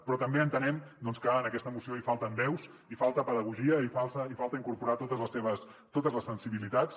però també entenem doncs que en aquesta moció hi falten veus hi falta pedagogia hi falta incorporar totes les sensibilitats